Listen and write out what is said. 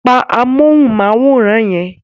Pa amóhùnmáwòrán yẹn.